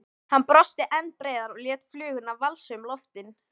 Hann brosti enn breiðar og lét fluguna valsa um loftin.